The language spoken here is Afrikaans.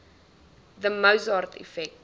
the mozart effect